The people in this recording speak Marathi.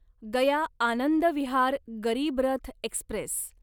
गया आनंद विहार गरीब रथ एक्स्प्रेस